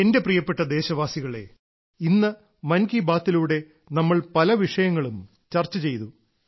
എന്റെ പ്രിയപ്പെട്ട ദേശവാസികളേ ഇന്ന് മൻ കി ബാത്തിലൂടെ നമ്മൾ പല വിഷയങ്ങളും ചർച്ച ചെയ്തു